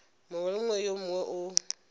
mongwe le yo mongwe ka